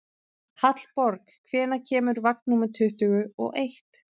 Hallborg, hvenær kemur vagn númer tuttugu og eitt?